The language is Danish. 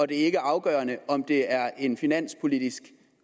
det ikke er afgørende om det er en finanspolitisk